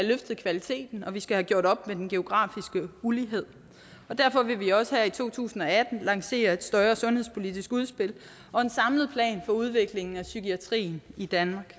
løftet kvaliteten og at vi skal have gjort op med den geografiske ulighed derfor vil vi også her i to tusind og atten lancere et større sundhedspolitisk udspil og en samlet plan for udviklingen af psykiatrien i danmark